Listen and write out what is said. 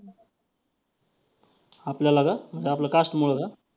आपल्याला का? म्हणजे आपल्या cast मुळं का?